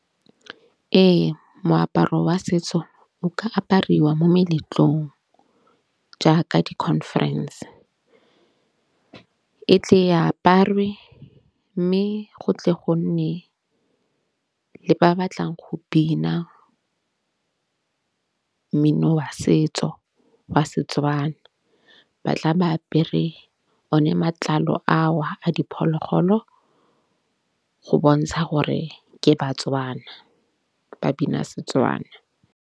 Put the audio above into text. Ee moaparo wa setso o ka apariwa mo meletlong jaaka di-conference. E tle e aparwe mme go tle go nne le ba batlang go bina mmino wa setso wa Setswana. Ba tla ba apere one matlalo ao a diphologolo go bontsha gore ke ba-Tswana ba bina Setswana.